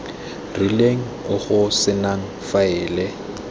rileng o go senang faele